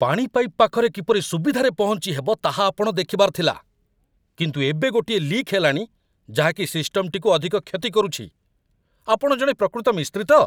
ପାଣି ପାଇପ୍ ପାଖରେ କିପରି ସୁବିଧାରେ ପହଞ୍ଚି ହେବ ତାହା ଆପଣ ଦେଖିବାର ଥିଲା, କିନ୍ତୁ ଏବେ ଗୋଟିଏ ଲିକ୍ ହେଲାଣି ଯାହାକି ସିଷ୍ଟମଟିକୁ ଅଧିକ କ୍ଷତି କରୁଛି! ଆପଣ ଜଣେ ପ୍ରକୃତ 'ମିସ୍ତ୍ରୀ' ତ?